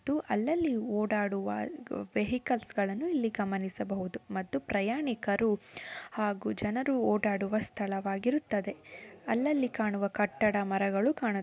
ಇಲ್ಲಿ ಅಲ್ಲಲ್ಲಿ ಓಡಾಡುವ ವೆಹಿಕಲ್ಸ್ ಗಳನ್ನು ಇಲ್ಲಿ ಗಮನಿಸಬಹುದು. ಇದು ಪ್ರಯಾಣಿಕರು ಹಾಗೂ ಜನರು ಓಡಾಡುವ ಸ್ಥಳವಾಗಿರುತ್ತದೆ. ಅಲ್ಲಲ್ಲಿ ಕಾಣುವ ಕಟ್ಟಡ ಮರಗಳು ಕಾಣು--